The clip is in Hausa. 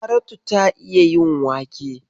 Saratu ta iya yin waƙe.